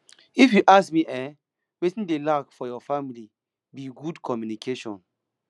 if you ask me eh wetin dey lack for your family be good communication